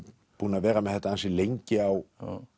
búinn að vera með lengi á